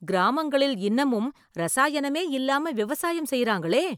கிராமங்களில் இன்னமும் ரசாயனமே இல்லாம விவசாயம் செய்றாங்களே!